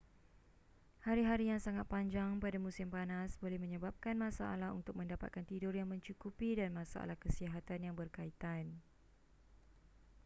hari-hari yang sangat panjang pada musim panas boleh menyebabkan masalah untuk mendapatkan tidur yang mencukupi dan masalah kesihatan yang bekaitan